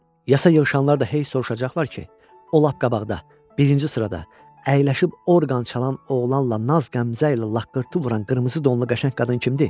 Yasa yığışanlar da hey soruşacaqlar ki, o lap qabaqda, birinci sırada əyləşib orqan çalan oğlanla naz-qəmzə ilə laqqırtı vuran qırmızı donlu qəşəng qadın kimdir?